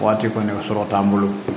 Waati kɔni sɔrɔ t'an bolo